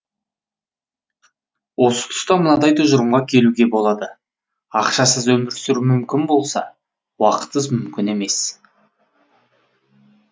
осы тұста мынадай тұжырымға келуге болады ақшасыз өмір сүру мүмкін болса уақытсыз мүмкін емес